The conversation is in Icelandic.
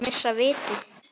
Eru þeir að missa vitið?